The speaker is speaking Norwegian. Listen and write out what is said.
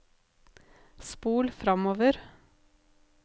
spol framover